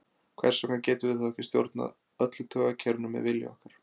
Hvers vegna getum við þá ekki stjórnað öllu taugakerfinu með vilja okkar?